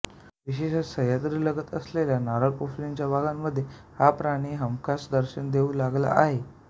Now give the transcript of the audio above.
विशेषतः सह्याद्रीलगत असलेल्या नारळ पोफळींच्या बागांमध्ये हा प्राणी हमखास दर्शन देऊ लागला आहे